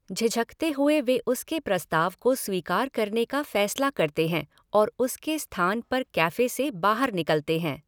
झिझकते हुए वे उसके प्रस्ताव को स्वीकार करने का फैसला करते हैं और उसके स्थान पर कैफ़े से बाहर निकलते हैं।